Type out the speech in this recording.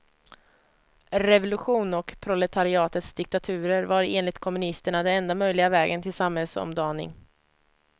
Revolution och proletariatets diktaturer var enligt kommunisterna den enda möjliga vägen till samhällsomdaning.